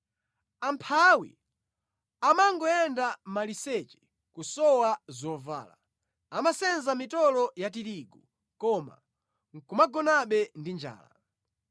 Amphawi amangoyenda maliseche kusowa zovala; amasenza mitolo ya tirigu, koma nʼkumagonabe ndi njala.